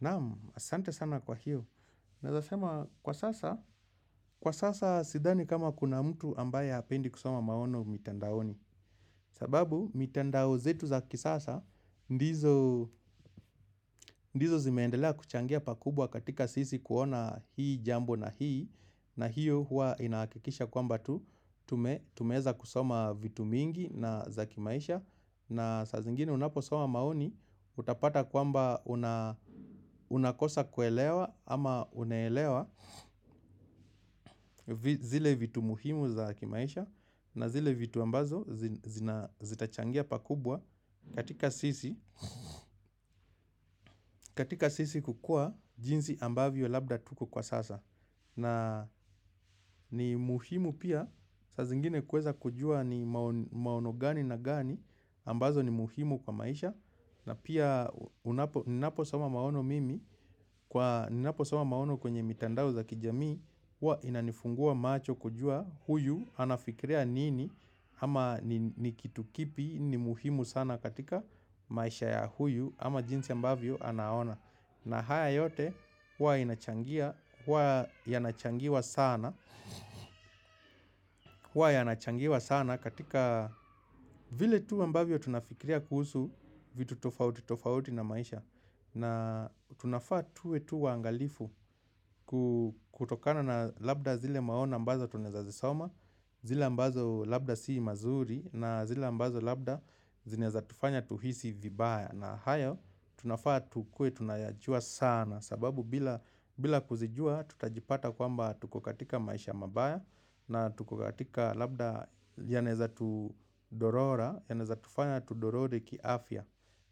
Naamu, asante sana kwa hiyo. Naezasema kwa sasa, kwa sasa sidhani kama kuna mtu ambaye apendi kusoma maono mitandaoni. Sababu, mitandao zetu za kisasa, ndizo zimendelea kuchangia pakubwa katika sisi kuona hii jambo na hii. Na hiyo huwa inaakikisha kwamba tu, tumeza kusoma vitu mingi na za kimaisha. Na saa zingine unapo soma maoni utapata kwamba unakosa kuelewa ama unaelewa zile vitu muhimu za kimaisha na zile vitu ambazo zitachangia pakubwa katika sisi kukua jinsi ambavyo labda tuko kwa sasa na ni muhimu pia saa zingine kweza kujua ni maono gani na gani ambazo ni muhimu kwa maisha na pia ninaposama maono mimi kwa ninaposama maono kwenye mitandao za kijamii huwa inanifungua macho kujua huyu anafikiria nini ama ni kitu kipi ni muhimu sana katika maisha ya huyu ama jinsi ambavyo anaona na haya yote huwa inachangia, huwa yanachangiwa sana wa yanachangiwa sana katika vile tu ambavyo tunafikiria kuhusu vitu tofauti tofauti na maisha na tunafaa tuwe tu waangalifu kutokana na labda zile maono ambazo tunaeza zisoma, zile ambazo labda sii mazuri na zile ambazo labda zinaeza tufanya tuhisi vibaya. Na hayo tunafaa tukuwe tunayajua sana sababu bila kuzijua tutajipata kwamba tuko katika maisha mabaya na tuko katika labda yanaeza tudorora yanaeza tufanya tudorore kiafya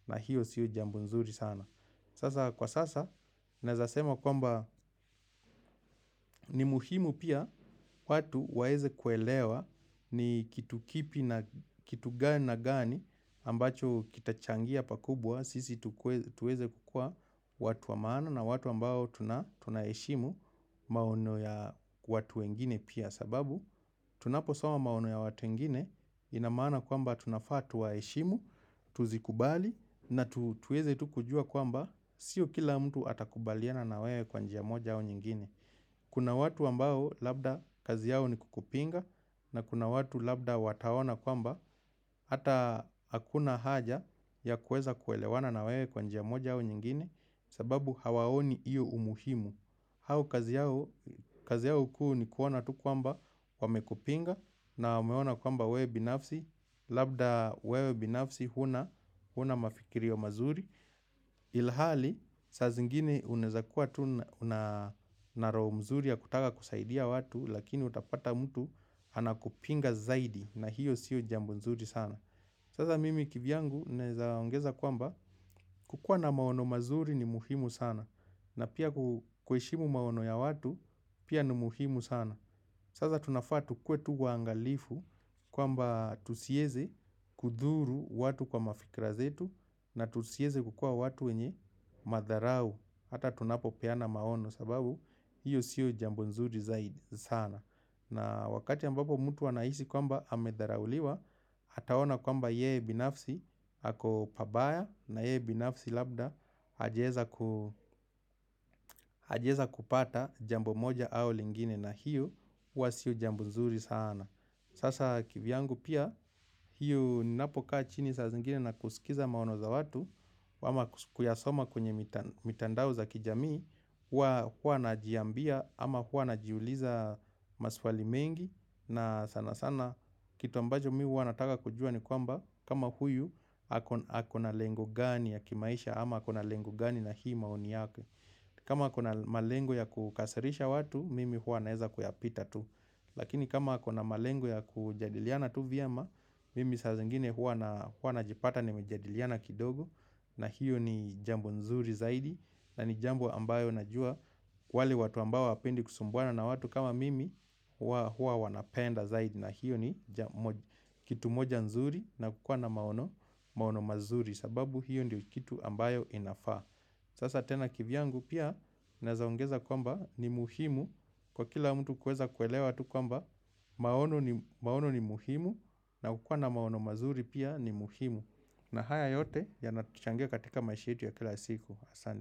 na hiyo siu jambo nzuri sana. Sasa kwa sasa, naezasema kwamba ni muhimu pia watu waeze kuelewa ni kitu kipi na kitu gani na gani ambacho kitachangia pakubwa. Sisi tuweze kukua watu wa maana na watu ambao tuna heshimu maono ya watu wengine pia sababu. Tunapo soma maono ya watu wengine inamaana kwamba tunafaa tuwaheshimu, tuzikubali na tuweze tu kujua kwamba Sio kila mtu atakubaliana na wewe kwa njia moja au nyingine Kuna watu ambao labda kazi yao ni kukupinga na kuna watu labda wataona kwamba Hata hakuna haja ya kueza kuelewana na wewe kwa njia moja au nyingine sababu hawaoni iyo umuhimu hau kazi yao kuu ni kuona tu kwamba wamekupinga na umeona kwamba wewe binafsi, labda wewe binafsi huna mafikirio mazuri. Ilhali, saa zingine uneza kuwa tu na roho mzuri ya kutaka kusaidia watu, lakini utapata mtu anakupinga zaidi na hiyo siyo jambo nzuri sana. Sasa mimi kivyangu nezaongeza kwamba kukua na maono mazuri ni muhimu sana na pia kuheshimu maono ya watu pia ni muhimu sana. Saza tunafaa tukuwe tu waangalifu kwamba tusieze kudhuru watu kwa mafikra zetu na tusieze kukua watu wenye madharau. Hata tunapo peana maono sababu hiyo sio jambo nzuri zaidi sana. Na wakati ambapo mutu wanaisi kwamba amedharauliwa, hataona kwamba yeye binafsi hako pabaya na yeye binafsi labda hajaeza kupata jambo moja au lingine na hiyo hua sio jambo nzuri sana. Sasa kivyangu pia hiyo ninapokaa chini saa zingine na kusikiza maono za watu ama kuyasoma kwenye mitandao za kijamii huwa huwa najiambia ama huwa najiuliza maswali mengi na sana sana kitu ambajo mi huwa nataka kujua ni kwamba kama huyu ako na lengo gani ya kimaisha ama ako na lengo gani na hii maoni yake kama ako na malengo ya kukasirisha watu mimi huwa naeza kuyapita tu Lakini kama ako na malengo ya kujadiliana tu vyema Mimi saa zingine hua najipata nimejadiliana kidogo na hiyo ni jambo nzuri zaidi na ni jambo ambayo najua wale watu ambao hawapendi kusumbuana na watu kama mimi hua wanapenda zaidi na hiyo ni kitu moja nzuri na kukua na maono mazuri sababu hiyo ndio kitu ambayo inafaa Sasa tena kivyangu pia Naezaongeza kwamba ni muhimu kwa kila mtu kuweza kuelewa tu kwamba maono ni muhimu na kukua na maono mazuri pia ni muhimu na haya yote yanatuchangia katika maisha yetu ya kila siku asanti.